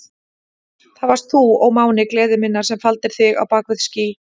Það varst þú, ó máni gleði minnar, sem faldir þig á bak við ský.